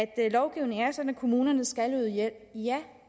at lovgivningen er sådan at kommunerne skal yde hjælp ja